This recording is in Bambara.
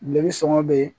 Bile sɔɔni bɛ